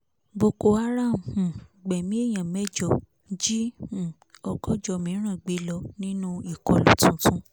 boko haram um gbẹ̀mí èèyàn mẹ́jọ jí um ọgọ́jọ́ mìrán gbé lọ nínú ìkọlù tuntun